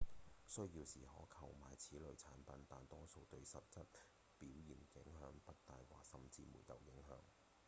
需要時可購買此類產品但多數對實質表現影響不大或甚至沒有影響